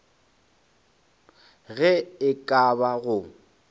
ge e ka ba go